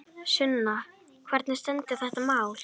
Sunna, hvernig stendur þetta mál?